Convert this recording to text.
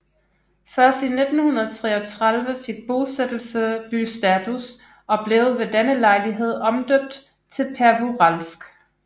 Først i 1933 fik bosættelse bystatus og blev ved denne lejlighed omdøbt til Pervouralsk